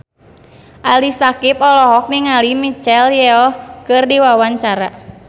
Ali Syakieb olohok ningali Michelle Yeoh keur diwawancara